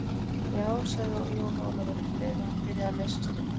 Já, sagði Jón Ólafur, um leið og hann byrjaði að leysast upp.